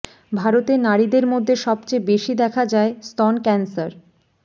ভারতের নারীদের মধ্যে সবচেয়ে বেশি দেখা যায় স্তন ক্যান্সার